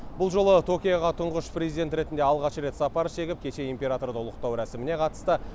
бұл жолы токиоға тұңғыш президент ретінде алғаш рет сапар шегіп кеше императорды ұлықтау рәсіміне қатысты